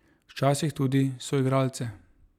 Včasih tudi soigralce.